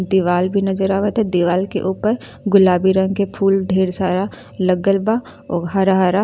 दीवाल भी नजर आवता। दीवाल के ऊपर गुलाबी रंग के फूल ढेर सारा लगल बा हरा हरा।